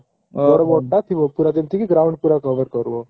ତା ଥିବ ପୁରା ଯେମିତି କି ground ପୁରା cover କରିବ